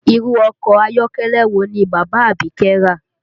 Irú ọkọ ayọ́kẹ́lẹ́ wo ni bàbá Abike rà?